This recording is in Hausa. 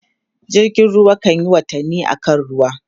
jirgin ruwa kanyi watanni a kan ruwa